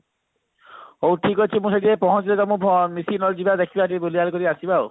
ହଉ ଠିକ ଅଛି ମୁଁ ସେଠି ଯାଇ ପହଞ୍ଚିଲେ ତମ ମିଶିକି ନହେଲେ ଯିବା ଦେଖିବା ଟିକେ ବୁଲାବୁଲି କରିକି ଆସିବା ଆଉ